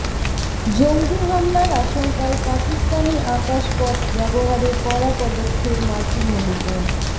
জঙ্গি হামলার আশঙ্কায় পাকিস্তানি আকাশপথ ব্যবহারে কড়া পদক্ষেপ মার্কিন মুলুকের